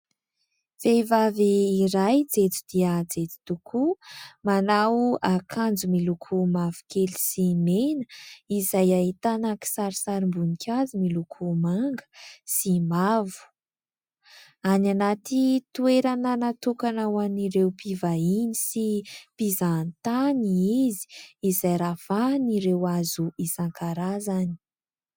Vehivavy iray jejo dia jejo tokoa manao akanjo miloko mavokely sy mena izay ahitana kisarisarim-boninkazo miloko manga sy mavo, any anaty toerana natokana ho an'ireo mpivahiny sy mpizahatany izy izay ravahin'ireo hazo isan-karazany.